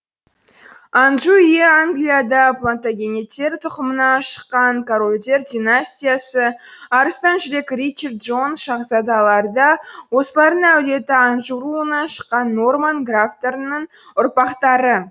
анжу үйі англияда плантагенеттер тұқымынан шыққан корольдер династиясы арыстан жүрек ричард джон шаһзадалар да осылардың әулеті анжу руынан шыққан норман графтарының ұрпақтары